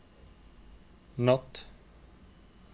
natt